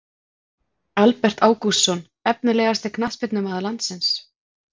Albert Ágústsson Efnilegasti knattspyrnumaður landsins?